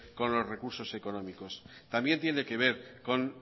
con los recursos económicos también tiene que ver con